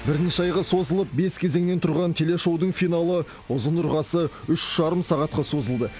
бірнеше айға созылып бес кезеңнен тұрған телешоудың финалы ұзын ырғасы үш жарым сағатқа созылды